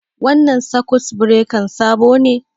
Wannan sakut birekan sabo ne?